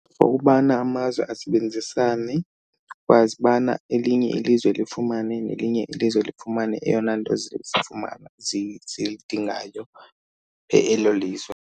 For ubana amazwe asebenzisane, ukwazi ubana elinye ilizwe lifumane nelinye ilizwe lifumane eyona nto zizifumana zilidingayo elo lizwe.